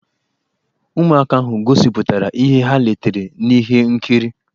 Ụmụaka ahụ gosipụtara ihe ha letere n'ihe nkiri.